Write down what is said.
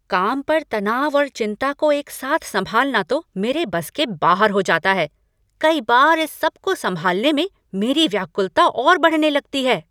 काम पर तनाव और चिंता को एक साथ संभालना तो मेरे बस के बाहर हो जाता है। कई बार इस सबको संभालने में मेरी व्याकुलता और बढ़ने लगती है।